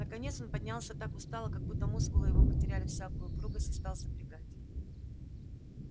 наконец он поднялся так устало как будто мускулы его потеряли всякую упругость и стал запрягать